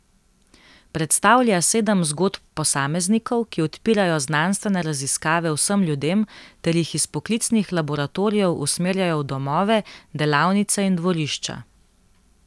Predstavlja sedem zgodb posameznikov, ki odpirajo znanstvene raziskave vsem ljudem ter jih iz poklicnih laboratorijev usmerjajo v domove, delavnice in dvorišča.